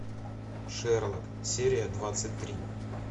шерлок серия двадцать три